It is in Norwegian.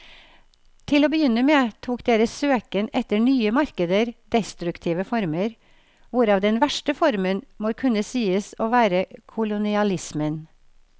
Til å begynne med tok deres søken etter nye markeder destruktive former, hvorav den verste formen må kunne sies å være kolonialismen.